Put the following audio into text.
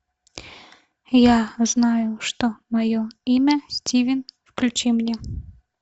я знаю что мое имя стивен включи мне